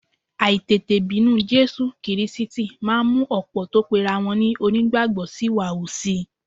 Àìtètè bínú Jésù Kírísítì máa ń mú ọ̀pọ̀ tó pera wọn ní onígbàgbọ́ ṣìwàhù si